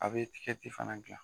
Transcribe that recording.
A bɛ fana gilan.